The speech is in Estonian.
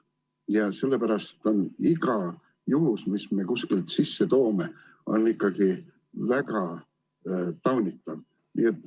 Ja sellepärast on iga juhtum, mis me kuskilt sisse toome, ikkagi väga taunitav.